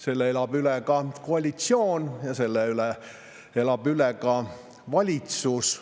Selle elab üle ka koalitsioon ja selle elab üle ka valitsus.